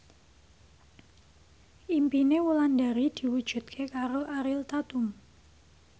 impine Wulandari diwujudke karo Ariel Tatum